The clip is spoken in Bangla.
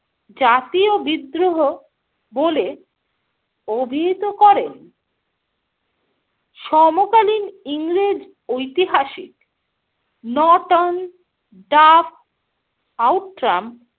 জাতীয় বিদ্রোহ বলে অভিহিত করেন। সমকালীন ইংরেজ ঐতিহাসিক নর্টন, ডাফ, আউট্রাম,